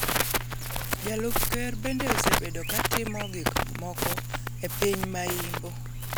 Jalup ker bende osebedo ka timo gik moko e piny ma Imbo